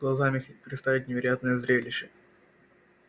глазам их представить невероятное зрелище